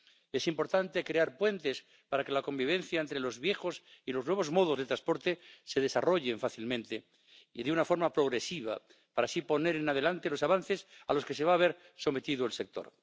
Es importante crear puentes para que la convivencia entre los viejos y los nuevos modos de transporte se desarrolle fácilmente y de una forma progresiva para así adelantarse a los avances a los que se va a ver sometido el sector.